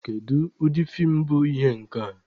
Kedu ụdị feem bụ ihe a?